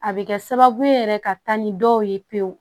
A bɛ kɛ sababu ye yɛrɛ ka taa ni dɔw ye pewu